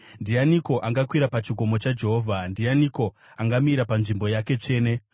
Ndianiko angakwira pachikomo chaJehovha? Ndianiko angamira panzvimbo yake tsvene?